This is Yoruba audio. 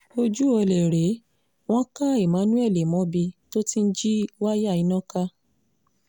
ojú ọ̀lẹ rèé wọ́n ka emmanuelmobi tó ti ń jí wáyà iná ká